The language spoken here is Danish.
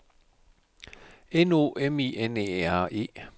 N O M I N E R E